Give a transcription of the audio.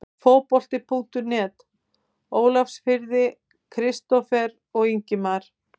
Fótbolti.net Ólafsfirði- Kristófer og Ingimar